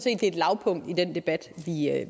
er et lavpunkt i den debat